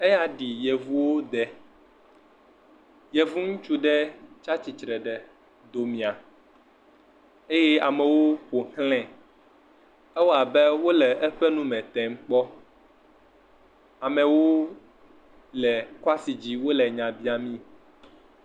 Eya ɖi yevuwo de. Yevu ŋutsu aɖe tsia tsitre ɖe domia eye amewo ƒoxlãe. Ewɔ abe wole eƒe nu tem kpɔ. Ame wole le kwasi dzi, wò nya biam mee.